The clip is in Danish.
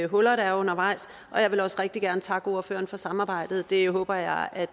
huller der er undervejs og jeg vil også rigtig gerne takke ordføreren for samarbejdet det håber jeg